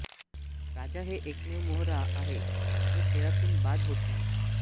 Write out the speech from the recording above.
राजा हे एकमेव मोहरा आहे जो खेळातून बाद होत नाही